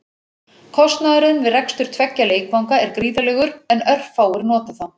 Kostnaðurinn við rekstur tveggja leikvanga er gríðarlegur en örfáir nota þá.